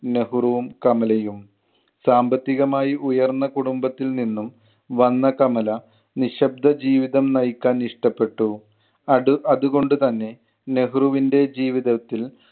നെഹ്രുവും കമലയും. സാമ്പത്തികമായി ഉയർന്ന കുടുംബത്തിൽ നിന്നും വന്ന കമല നിശബ്‌ദ ജീവിതം നയിക്കാൻ ഇഷ്ടപ്പെട്ടു. അടു~ അതുകൊണ്ട് തന്നെ നെഹ്‌റുവിൻ്റെ ജീവിതത്തിൽ